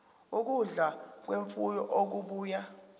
ukudla kwemfuyo okubuya